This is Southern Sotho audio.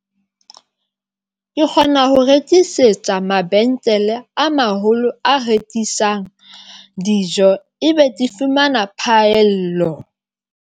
Ke kgona ho rekisetsa mabenkele a maholo, a rekisang dijo, ebe ke fumana phaello.